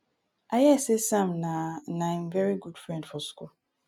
i hear say sam na na him very good friend for school.